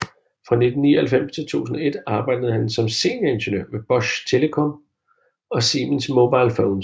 Fra 1999 til 2001 arbejdede han som senior ingeniør ved Bosch Telecom og Siemens Mobile Phones